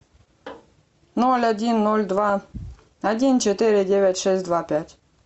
ноль один ноль два один четыре девять шесть два пять